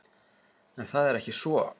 En það er ekki svo.